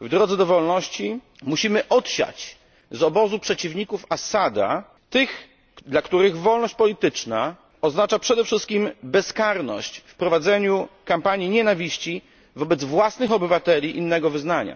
w drodze do wolności, musimy odsiać z obozu przeciwników Assada tych, dla których wolność polityczna oznacza przede wszystkim bezkarność w prowadzeniu kampanii nienawiści wobec własnych obywateli innego wyznania.